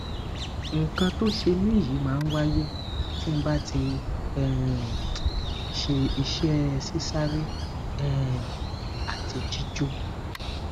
nkan ti o se mi yi ma waye tí ba ti um se ise sisare um ati jijo